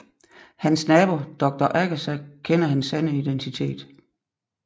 Hans nabo Doktor Agasa kender hans sande identitet